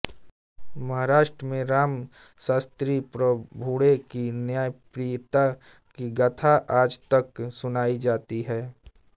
महाराष्ट्र में राम शास्त्री प्रभूणे की न्यायप्रियता की गाथा आज तक सुनाई जाती है